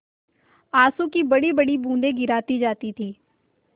आँसू की बड़ीबड़ी बूँदें गिराती जाती थी